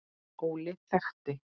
Óli þekkti.